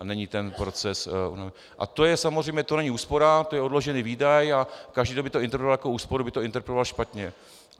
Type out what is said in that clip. A není ten proces, a to je samozřejmě, to není úspora, to je odložený výdaj a každý, kdo by to interpretoval jako úsporu, by to interpretoval špatně.